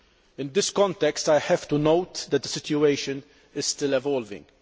In this context, I have to note that the situation is still evolving.